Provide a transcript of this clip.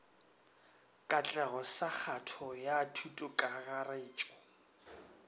katlego sa kgato ya thutokakarretšo